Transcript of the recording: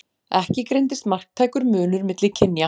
Ekki greindist marktækur munur milli kynja.